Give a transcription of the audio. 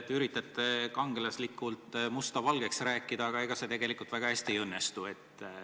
Te üritate kangelaslikult musta valgeks rääkida, aga ega see tegelikult väga hästi ei õnnestu.